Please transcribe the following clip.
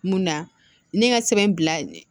Mun na ne ka sɛbɛn bila